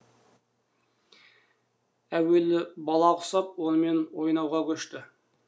әуелі бала құсап онымен ойнауға көшті